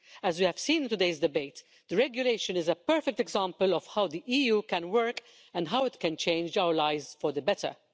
As we have seen in today's debate, the regulation is a perfect example of how the EU can work and how it can change our lives for the better.